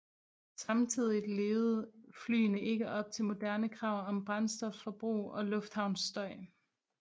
Samtidigt levede flyene ikke op til moderne krav om brændstofforbrug og lufthavnsstøj